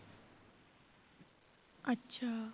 ਅੱਛਾ।